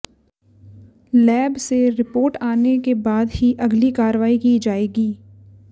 lab से report आने के बाद ही अगली कार्रवाई की जाएगी